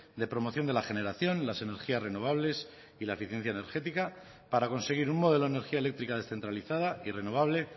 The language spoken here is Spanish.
de promoción de la generación las energías renovables y la eficiencia energética para conseguir un modelo de energía eléctrica descentralizada y renovable